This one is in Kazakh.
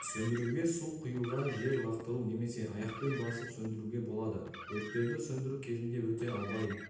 сөндіруге су құюға жер лақтыру немесе аяқпен басып сөндіруге болады өрттерді сөндіру кезінде өте абай